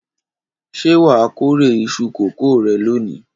Ṣé wà á kórè iṣu kòkó rẹ lónìí?